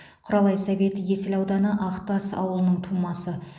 құралай совет есіл ауданы ақтас ауылының тумасы